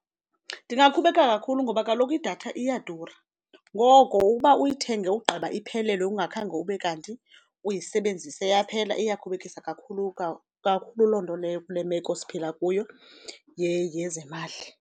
Ndingakhubeka kakhulu ngoba kaloku idatha iyadura ngoko ukuba uyithenge ugqiba iphelelwe ungakhange ube kanti uyisebenzise yaphela iyakhubekisa kakhulu kakhulu loo nto leyo kule meko siphila kuyo yezemali.